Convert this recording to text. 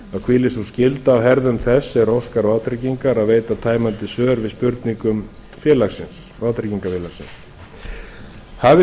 hvílir sú skylda á herðum þess sem óskar vátryggingar að veita tæmandi svör við spurningum vátryggingafélagsins hafi